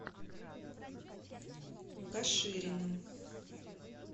кашириным